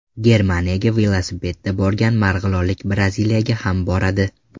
Germaniyaga velosipedda borgan marg‘ilonlik Braziliyaga ham boradi.